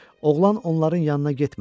Oğlan onların yanına getmədi.